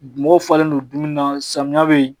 Mɔgɔw falen don dumuni na samiya bɛ yen